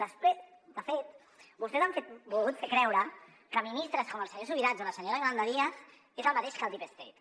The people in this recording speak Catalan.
de fet vostès han volgut fer creure que ministres com el senyor subirats o la senyora yolanda díaz són el mateix que el deep state